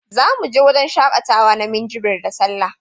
Za mu je wajan shaƙatawa na Minjibir da Sallah